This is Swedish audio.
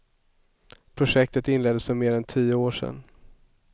Projektet inleddes för mer än tio år sedan.